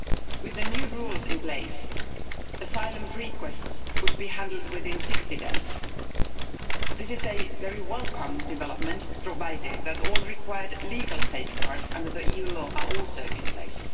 With the new rules in place, asylum requests would be handled within 60 days. This is a very welcome development, provided that all required legal safeguards under EU law are also in place.